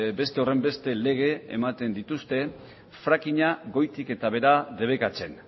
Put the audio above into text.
beste horrenbeste lege ematen dituzte frackinga goitik eta behera debekatzen